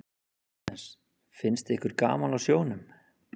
Jóhannes: Finnst ykkur gaman á sjónum?